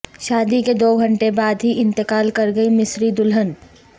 شادی کے دو گھنٹے بعد ہی انتقال کرگئی مصری دلہن